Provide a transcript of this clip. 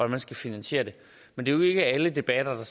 man skal finanisere det men det er jo ikke alle debatter der